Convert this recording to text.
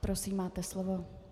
Prosím, máte slovo.